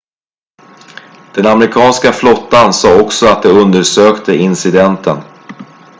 den amerikanska flottan sa också att de undersökte incidenten